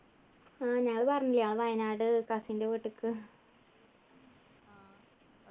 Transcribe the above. ആഹ് ഞാൻ പറഞ്ഞില്ലേ ആ വയനാട് cousin ൻ്റെ വീട്ടിക്ക്